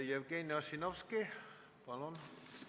Jevgeni Ossinovski, palun!